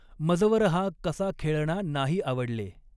मजवर हा कसा ख़ेळणा नाही आवडले।